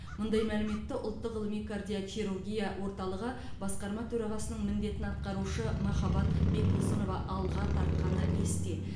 мұндай мәліметті ұлттық ғылыми кардиохирургия орталығы басқарма төрағасының міндетін атқарушы махаббат бекбосынова алға тартқаны есте